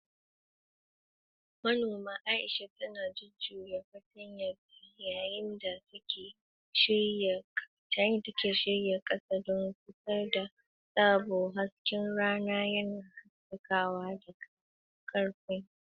Manoma Aisha tana jujjuya fartanyanta yayin da take shirya kasa don fitar da tsaba, hasken rana yana haskawa daga karfen.